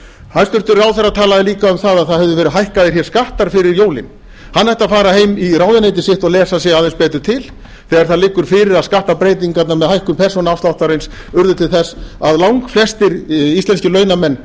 hæstvirtur ráðherra talaði líka um að það hefðu verið hækkaðir hér skattar fyrir jólin hann ætti að fara heim í ráðuneyti sitt og lesa sig aðeins betur til þegar það liggur fyrir að skattabreytingarnar með hækkun persónuafsláttarins urðu til þess að langflestir íslenskir launamenn